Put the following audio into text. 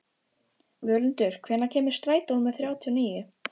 Völundur, hvenær kemur strætó númer þrjátíu og níu?